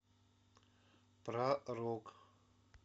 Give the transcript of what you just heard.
про рок